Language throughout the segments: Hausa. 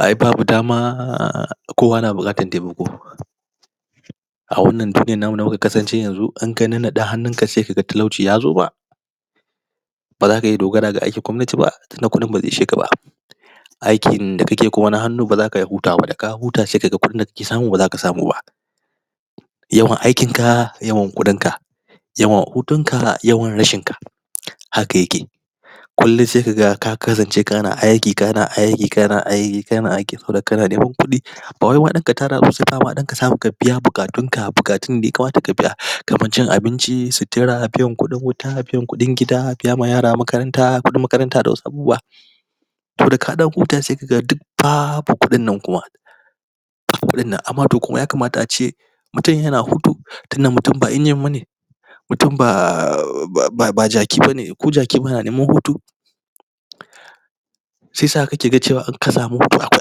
Ai babu dama Kowa na bukatar taimako A wannan namu da muka kasance yanzu Inka nannade hannunka sai kaga talauci yazo ma, Baza ka dogara da aikin gomnati ba Tunda kudin bazai isheka ba Aikin... da kake kuma na hannu bazaka iya hutawa ba daka huta sai kaga Abunda kake samu bazaka samu ba Yawan aikin ka Yawan kudin ka Yawan hutun ka yawan rashin ka Haka yake sai kaga ka kasancekana aiki kana aiki kana aiki kana aiki saboda kana ganin kudi Bawai ma danka tara ba saima dan ka samu ka biya bukatunkamukatun da ya kamata ka biya Kaman su cin abinci su tera su biyan kudin wuta biya kudin gida biya ma yara makaranta kudin makaranta da wasu abubuwa To daka dan huta sai kaga duk Babu kudin nan kuma amma toh kuma ya kamata ace Mutum yana hutu Dunda mutum ba Mutum ba... ba, ba jaki bane Ko jakin yana neman hutu Saisa kake ga cewa in ka samu hutu to akwai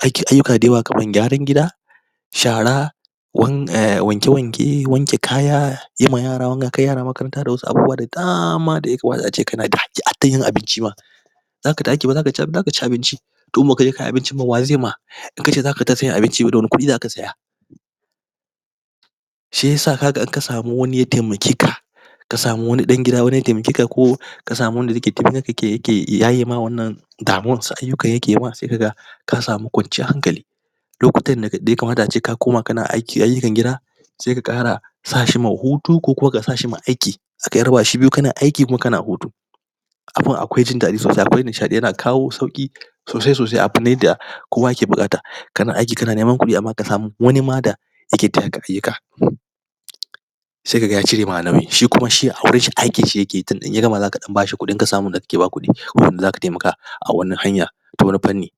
aiki, ayuka dayawa kaman gyaran gida Shara Wan, umm wanke wanke wanke kaya Yima yara wanka, yara makaranta da wasu abubuwa da dama daya kamata ace kanada haƙƙi, hatta yin abinci ma zaka ci abinci Domin in baka dafa abincin ba wazai ma In kace zaka ka sai abinci da wane kudi zaka saya? Shiyasa kaga in ka samu wani ya taimake ka Ka samu wani dan ya taimake ka Ka samu wani ya taimake ka ya yaye ma wannan Damuwar wasu ayuka yake ma sai kaga Ka samu kwanciyar hankali Lokutan daya kamata ace ka kuma kana aiki gida Sai ka kara Sashi ma hutu ko kuma ka sashi ga aiki Zakai raba shi biyu kana aiki kuma kana hutu Abun akwai jin dadi sosai akwai nishaɗi yana kawo sauki Sosai sosai akan yadda Kowa ke buƙata Kana aiki kana ganin kudi Wani ma da (????) sai kaga ya cirema alawi shi kuma shi a wurinshi aikin shi yakeyi tunda in ya gama zaka dan bashi kudin, A wannan hanya Ta wani panni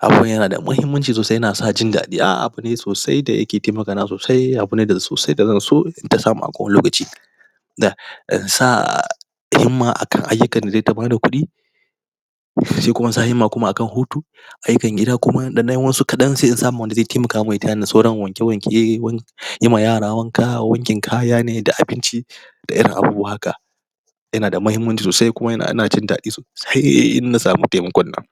Abun yanada mahimmanci sosai yana sa jin dadi umm abune sosai da yake taimaka na sosai yana kuma sosai kowane lokaci Kuma akan ayukan da zata bada kudi Sai kuma insa yimma kuma akan hutu Ayukan gida kuma indan yi wasu kadan sai in samu wanda zai taimaka man ya tayani sauran wanke wanke wank, Yima yara wanka, wankin kaya ne da abinci Da irin abubuwa haka Yana da mahimmanci sosai Sai in na samu taimakon nan